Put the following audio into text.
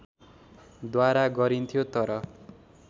द्वारा गरिन्थ्यो तर